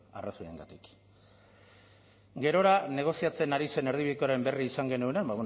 arrazoiengatik gerora negoziatzen ari zen erdibidekoaren berri izan genuenean